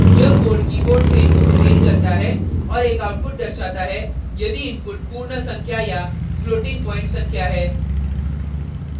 यह code keyboard से input read करता है और एक output दर्शाता है यदि input पूर्ण संख्या या floating प्वॉइंट संख्या है